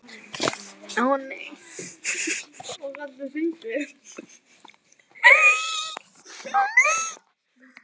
Líði þér alla daga vel og góður guð hjálpi þér.